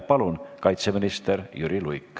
Palun, kaitseminister Jüri Luik!